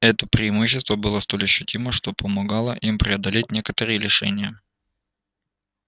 это преимущество было столь ощутимо что помогало им преодолеть некоторые лишения